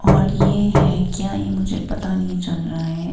और ये है क्या ये मुझे पता नहीं चल रहा है।